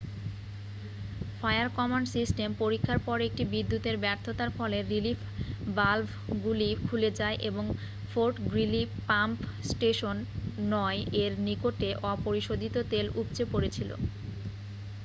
fire command system পরীক্ষার পর একটি বিদ্যুতের ব্যর্থতার ফলে রিলিফ ভালভগুলি খুলে যায় এবং ফোর্ট গ্রিলি পাম্প স্টেশন 9 এর নিকটে অপরিশোধিত তেল উপচে পড়েছিল